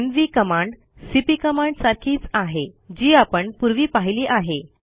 MV command CP command सारखीच आहे जी आपण पूर्वी पाहिली आहे